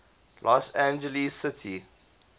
los angeles city